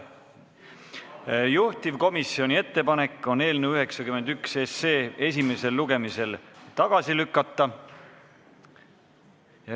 Juhtivkomisjoni ettepanek on eelnõu 91 esimesel lugemisel tagasi lükata.